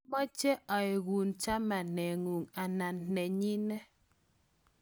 mameche aeku chamaneng'ung' anan nenyine